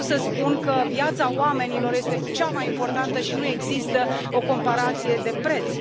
Eu vreau să spun că viața oamenilor este cea mai importantă și nu există o comparație de preț.